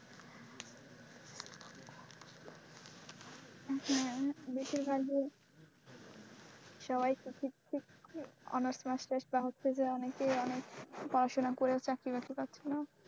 হ্যাঁ বেশিরভাগই সবাইতো honours টোনার্স কেসটা হচ্ছে যে অনেকেই অনেক পড়াশোনা করে চাকরি বাকরি পাচ্ছে না।